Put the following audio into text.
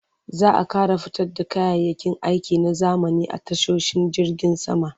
Za a ƙara fito da kayayyakin aiki na zamani a tashoshin jirgin sama.